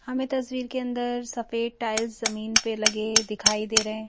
हमें तस्वीर के अंदर सफेद टाइल्स जमीन पर लगे दिखाई दे रहे हैं।